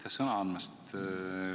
Aitäh sõna andmast!